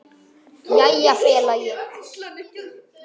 Jæja félagi!